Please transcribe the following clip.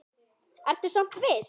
Ertu samt viss?